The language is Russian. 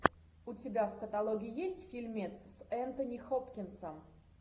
у тебя в каталоге есть фильмец с энтони хопкинсом